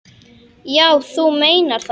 Já, þú meinar það.